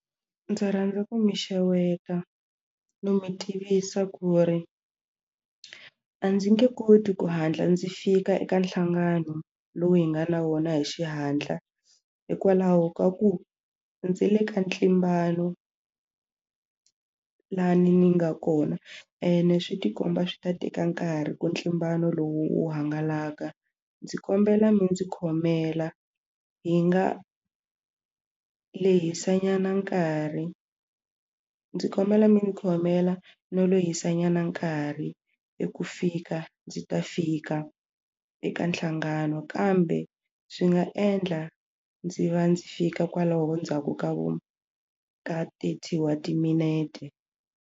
Ndzi rhandza ku mi xeweta no mi tivisa ku ri a ndzi nge koti ku hatla ndzi fika eka nhlangano lowu hi nga na wona hi xihatla hikwalaho ka ku ndzi le ka ntlimbano lani ni nga kona ene swi tikomba swi ta teka nkarhi ku ntlimbano lowu wu hangalaka ndzi kombela mi ndzi khomela hi nga lehisa nyana nkarhi ndzi kombela mi ndzi khomela no lehisa nyana nkarhi i ku fika ndzi ta fika eka nhlangano kambe swi nga endla ndzi va ndzi fika kwalaho ndzhaku ka vo ka thirty wa timinete.